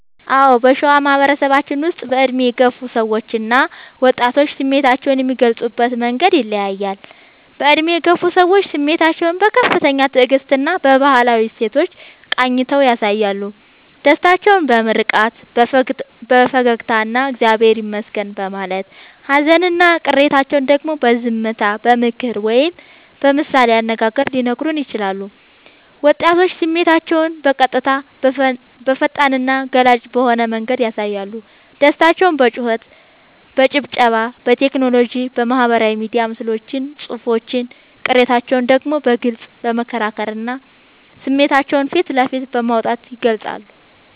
አዎ: በሸዋ ማህበረሰባችን ውስጥ በዕድሜ የገፉ ሰዎችና ወጣቶች ስሜታቸውን የሚገልጹበት መንገድ ይለያያል፦ በዕድሜ የገፉ ሰዎች፦ ስሜታቸውን በከፍተኛ ትዕግስትና በባህላዊ እሴቶች ቃኝተው ያሳያሉ። ደስታቸውን በምርቃት፣ በፈገግታና «እግዚአብሔር ይመስገን» በማለት: ሃዘንና ቅሬታቸውን ደግሞ በዝምታ: በምክር ወይም በምሳሌ አነጋገር ሊነግሩን ይችላሉ። ወጣቶች፦ ስሜታቸውን በቀጥታ: በፈጣንና ገላጭ በሆነ መንገድ ያሳያሉ። ደስታቸውን በጩኸት: በጭብጨባ: በቴክኖሎጂ (በማህበራዊ ሚዲያ ምስሎችና ጽሑፎች): ቅሬታቸውን ደግሞ በግልጽ በመከራከርና ስሜታቸውን ፊት ለፊት በማውጣት ይገልጻሉ።